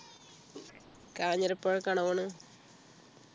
കാഞ്ഞിരപ്പുഴക്കാണോ പോണത്